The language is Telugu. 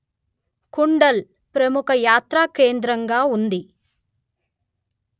కుండల్ ప్రముఖ యాత్రాకేంద్రంగా ఉంది